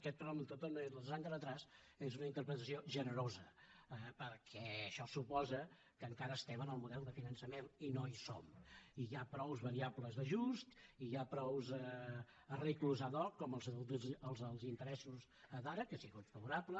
de tota manera els dos anys de retard és una interpretació generosa perquè això suposa que encara estem en el model de finançament i no hi som i hi ha prou variables d’ajust i hi ha prou arranjaments ad hoc com els interessos d’ara que si fos favorable